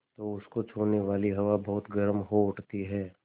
तो उसको छूने वाली हवा बहुत गर्म हो उठती है